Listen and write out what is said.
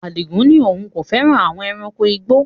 Adigun ní òun kò fẹ́ràn àwon ẹranko igbó